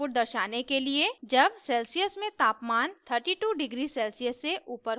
जब सेल्सियस में तापमान 32 डिग्री सेल्सियस से ऊपर हो